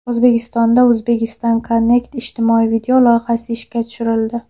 O‘zbekistonda Uzbekistan Connect ijtimoiy video loyihasi ishga tushirildi.